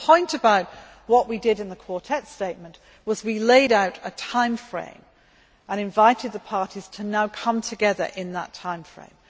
The point about what we did in the Quartet statement was that we laid out a time frame and invited the parties to now come together in that time frame.